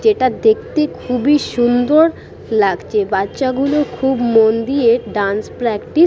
যেটা দেখতে খুবই সুন্দর লাগছে। বাচ্চাগুলো মন দিয়ে ডান্স প্র্যাকটিস --